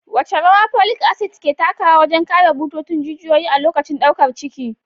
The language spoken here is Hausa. Wace rawa folic acid ke takawa wajen kare bututun jijiyoyi a lokacin daukar ciki?